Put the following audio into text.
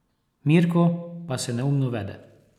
Mirko pa se neumno vede.